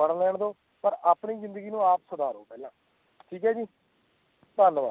ਬਾਣ ਲੈਣ ਦੋ ਪਰ ਆਪਣੀ ਜ਼ਿੰਦਗੀ ਨੂੰ ਆਪ ਸਵਾਰੋ ਪਹਿਲਾਂ ਠੀਕ ਹੈ ਜੀ ਧੰਨਵਾਦ